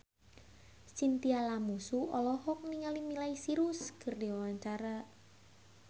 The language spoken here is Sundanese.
Chintya Lamusu olohok ningali Miley Cyrus keur diwawancara